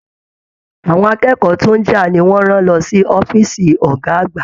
Àwọn akẹ́kọ̀ọ́ tó n já ni wọn rán lọ sí ọ̀fiísí ọgá àgbà.